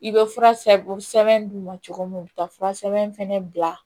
I bɛ fura sɛbɛn d'u ma cogo min u bɛ taa fura sɛbɛn fɛnɛ bila